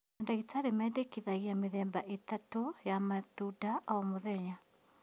Mandagĩtarĩ mendekithagia mĩthemba ĩtatũ ya matunda o mũthenya